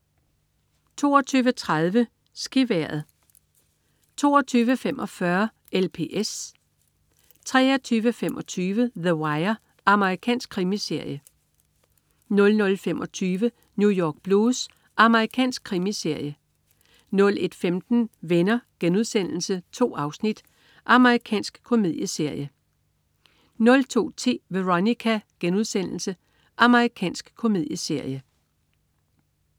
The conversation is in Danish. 22.30 SkiVejret 22.45 LPS 23.25 The Wire. Amerikansk krimiserie 00.25 New York Blues. Amerikansk krimiserie 01.15 Venner.* 2 afsnit. Amerikansk komedieserie 02.10 Veronica.* Amerikansk komedieserie